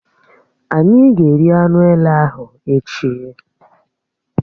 Ányi ga-eri anụ èlé ahụ echi